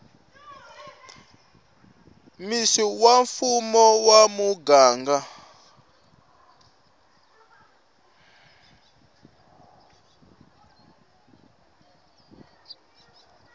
mec wa mfumo wa muganga